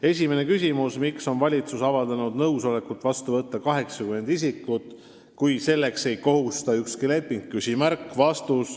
Esimene küsimus: "Miks on valitsus avaldanud nõusolekut vastu võtta 80 isikut, kui selleks ei kohusta ükski leping?